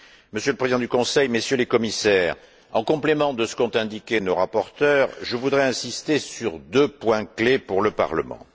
Monsieur le Président du Conseil, Messieurs les Commissaires, en complément de ce qu'ont indiqué nos rapporteurs, je voudrais insister sur deux points clés pour le Parlement.